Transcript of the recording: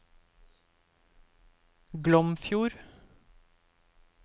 Glomfjord